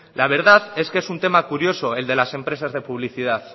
la verdad es que es un tema curioso el de las empresas de publicidad